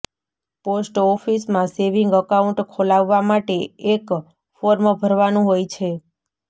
post ઓફિસમાં saving account ખોલાવવા માટે એક ફોર્મ ભરવાનું હોય છે